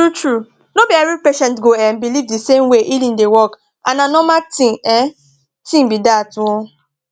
true true no be every patient go um believe the same way healing dey work and na normal um thing be that um